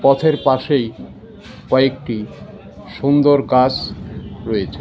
পথের পাশেই কয়েকটি সুন্দর গাছ রয়েছে .